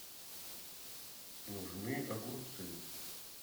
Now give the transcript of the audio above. нужны огурцы